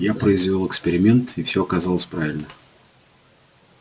я произвёл эксперимент и всё оказалось правильно